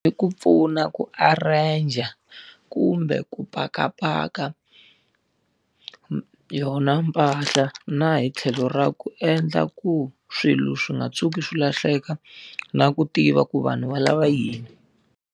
I ku pfuna ku arrange-a kumbe ku pakapaka yona mpahla na hi tlhelo ra ku endla ku swilo swi nga tshuki swi lahleka, na ku tiva ku vanhu va lava yini.